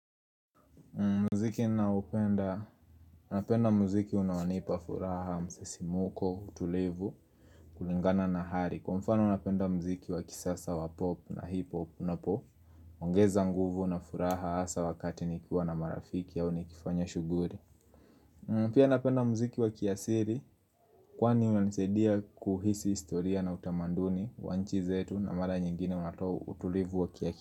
Muziki ninaoupenda, napenda muziki unaonipa furaha, msisimuko, utulivu, kulingana na hali Kwa mfano napenda muziki wa kisasa wa pop na hip hop, unapo ongeza nguvu na furaha hasa wakati nikiwa na marafiki au nikifanya shughuli Pia napenda muziki wa kiasiri, kwani unanisaidia kuhisi historia na utamaduni wa nchi zetu na mara nyingine unatoa utulivu wa kiasiri.